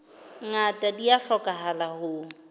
ngata di a hlokahala ho